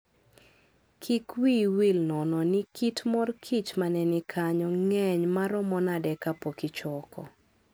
Kik wiyi wil nono ni kit mor kich ma ne ni kanyo ng'eny maromo nade kapok ichoko.